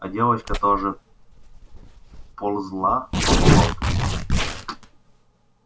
а девочка тоже ползла по болоту